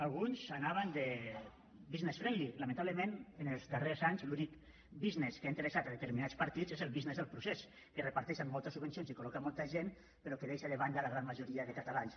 alguns anaven de business friendly lamentablement en els darrers anys l’únic business que ha interessat a determinats partits és el business del procés que reparteixen moltes subvencions i col·loquen molta gent però que deixa de banda la gran majoria de catalans